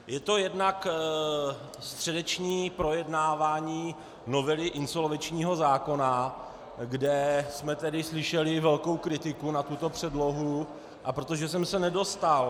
Je to jednak středeční projednávání novely insolvenčního zákona, kde jsme tedy slyšeli velkou kritiku na tuto předlohu, a protože jsem se nedostal -